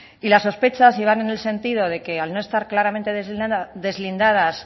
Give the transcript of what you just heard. y las sospechas llegaron en el sentido de que al no estar claramente deslindadas